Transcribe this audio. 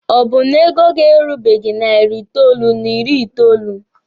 Ọ bụ na ego gị erubeghi narị itoolu n'ịrị itoolu?